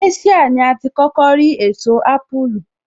Asia ní a ti kókó rí èso ápùlù